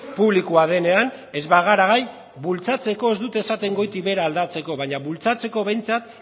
publikoa denean ez bagara gai bultzatzeko ez dut esaten goitik behera aldatzeko baina bultzatzeko behintzat